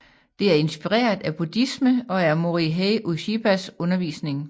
Det er inspireret af buddhisme og af Morihei Ueshibas undervisning